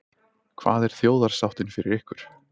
Hvað er þjóðarsáttin fyrir ykkur?